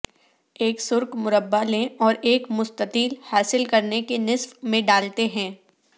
ایک سرخ مربع لیں اور ایک مستطیل حاصل کرنے کے نصف میں ڈالتے ہیں